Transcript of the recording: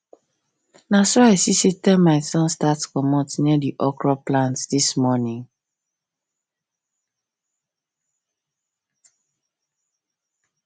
naso i see say termites don start comot near the okro plant this morning